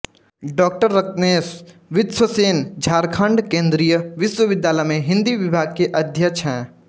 डॉ रत्नेश विश्वक्सेन झारखंड केन्द्रीय विश्वविद्यालय में हिंदी विभाग के अध्यक्ष है